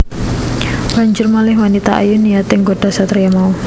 Banjur malih wanita ayu niyaté nggodha satriya mau